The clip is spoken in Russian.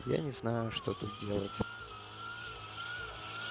я не знаю что тут делать